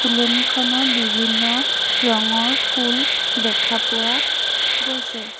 ফুলনিখনত বিভিন্ন ৰঙৰ ফুল দেখা পোৱা গৈছে।